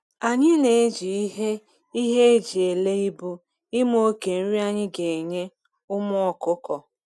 Anyi na eji ihe ihe eji ele ibu ima oke nri anyi ga enye ụmụ ọkụkọ